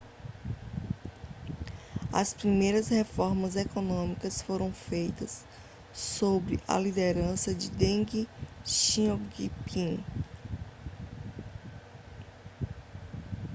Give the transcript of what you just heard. as primeiras reformas econômicas foram feitas sob a liderança de deng xiaoping